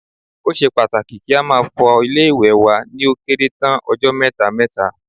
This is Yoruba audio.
Ó ṣe pàtàkì kí a máa fọ ilé-ìwẹ̀ wa ni ó kéré tán ọjọ́ mẹ́ta mẹ́ta